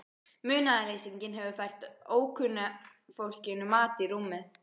Munaðarleysinginn hefur fært ókunna fólkinu mat í rúmið.